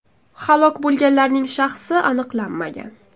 Halok bo‘lganlarning shaxsi aniqlanmagan.